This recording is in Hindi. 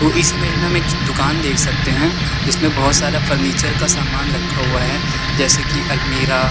इस इमेज में हम एक दुकान देख सकते हैं जिसमें बहोत सारा फर्नीचर का सामान रखा हुआ है जैसे कि अलमीरा ।